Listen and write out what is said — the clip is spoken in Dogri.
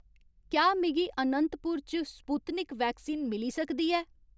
क्या मिगी अनंतपुर च स्पुत्निक वैक्सीन मिली सकदी ऐ